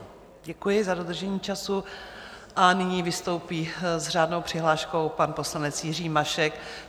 Děkuji za dodržení času a nyní vystoupí s řádnou přihláškou pan poslanec Jiří Mašek.